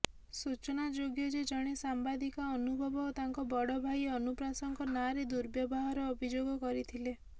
ସୂଚନାଯୋଗ୍ୟ ଯେ ଜଣେ ସାମ୍ବାଦିକା ଅନୁଭବ ଓ ତାଙ୍କ ବଡ ଭାଇ ଅନୁପ୍ରାସଙ୍କ ନାଁରେ ଦୁର୍ବ୍ୟବହାର ଅଭିଯୋଗ କରିଥିଲେ